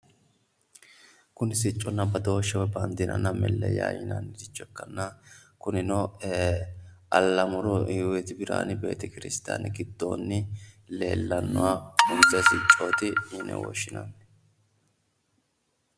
Kuni sicconna badooshsheho woy baandiranna melleyaho yinanniricho ikkanna kunino allamuru hiwoyiiti birihaane betekiristiyaane giddonni leellannoha insa siccooti yine woshshinanni.